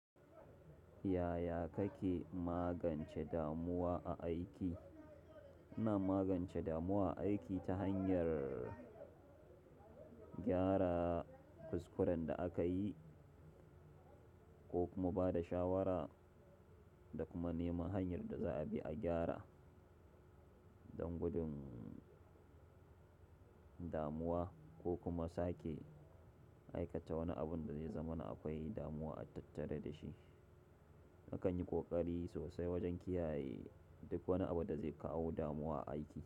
Yaya kake magance damuwa a aiki? Ina magance damuwa aiki ta hanyar gyara kuskuran da aka yi ko kuma ba da shawara da kuma neman hanyar da za a bi a gyara. Don gudun damuwa ko kuma sake aikata wani abun da zai zamana akwai damuwa a tattare da shi. Nakan yi kokari sosai wajen kiyaye duk wani abu da zai kawo damuwa a aiki.